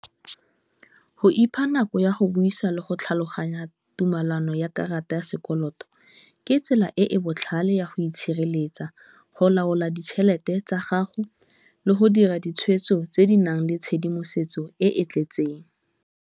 Go ipha nako ya go buisa le go tlhaloganya tumelano ya karata ya sekoloto ke tsela e e botlhale ya go itshireletsa, go laola ditšhelete tsa gago le go dira ditshwetso tse di nang le tshedimosetso e e tletseng.